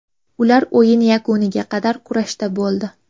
Ular o‘yin yakuniga qadar kurashda bo‘ldi.